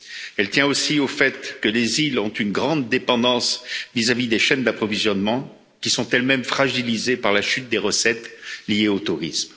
Elle tient aussi au fait que les îles ont une grande dépendance vis à vis des chaînes d'approvisionnement, qui sont elles mêmes fragilisées par la chute des recettes liées au tourisme.